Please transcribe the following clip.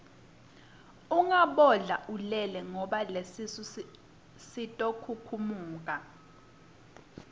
ungabodla ulele ngoba lesisu sitokhukhumuka